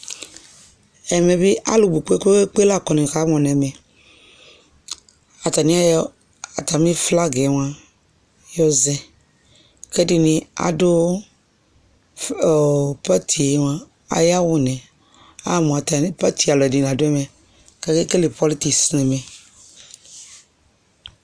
Ɛmɛ bi alu bu kpekpekpe lakɔ nʋ salon nɛmɛAtani ayɔ atami flagaɛ mua yɔzɛKɛdini adʋ ɔɔɔ patie mua ayawu niAma mu atani, Paris alu ɛdini la dʋ ɛmɛKakekele pɔlitik nɛmɛ